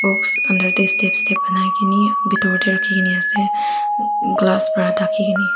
box under tae step step banaikene bitor tae rakhikena ase glass pa thakikene.